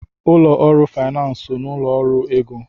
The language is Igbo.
Ụlọ ọrụ finansi so n'ụlọ ọrụ ego.